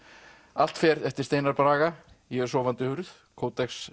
allt fer eftir Steinar Braga ég er sofandi hurð